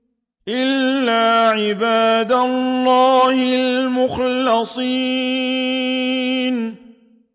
إِلَّا عِبَادَ اللَّهِ الْمُخْلَصِينَ